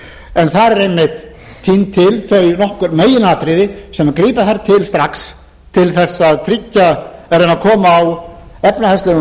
en þar eru einmitt tínd til þau meginatriði sem grípa þarf til strax til að reyna að koma á efnahagslegum